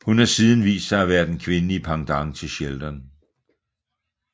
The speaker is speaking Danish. Hun har siden vist sig at være den kvindelige pendant til Sheldon